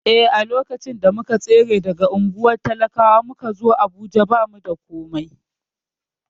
Eh, lokacin da muka tsere daga unguwar talakwa muka zo Abuja, ba mu da komai.